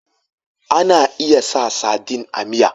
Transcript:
Ana iya sa sadin a miya